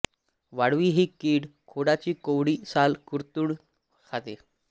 वाळवी ही कीड खोडाची कोवळी साल कुरतडून खाते